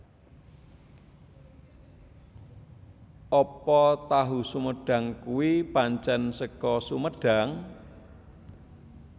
Apa tahu sumedang kui pancen seko Sumedang?